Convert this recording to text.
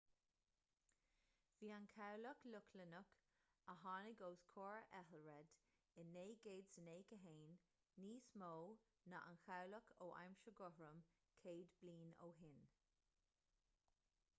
bhí an cabhlach lochlannach a tháinig os comhair ethelred i 991 níos mó ná aon chabhlach ó aimsir guthrum céad bliain ó shin